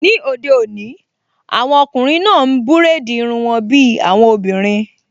Ní òde òní, àwọn ọkùnrin náà n búrèdì irun wọn bí àwọn obìnrin